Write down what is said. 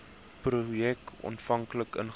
projek aanvanklik ingestel